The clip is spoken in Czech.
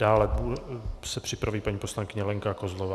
Dále se připraví paní poslankyně Lenka Kozlová.